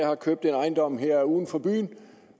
har købt en ejendom her uden for byen